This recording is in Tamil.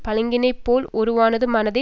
பளிங்கினை போல் ஒருவனது மனத்தே